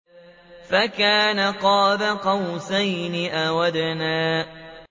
فَكَانَ قَابَ قَوْسَيْنِ أَوْ أَدْنَىٰ